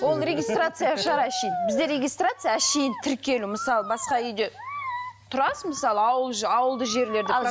ол регистрация шығар әшейін бізде регистрация әшейін тіркелу мысалы басқа үйде тұрасың мысалы ауыл ауылды жерлерде